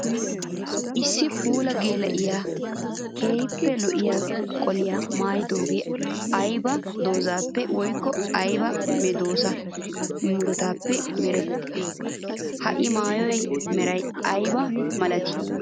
Issi puula geela'iya keehippe lo'iya qoliya maayiddoge aybba doozappe woykko aybba medosa muruttappe meretti? Ha i maayuwa meray aybba malatti?